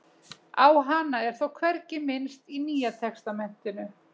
Á hana er þó hvergi minnst í Nýja testamentinu.